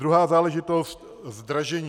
Druhá záležitost, zdražení.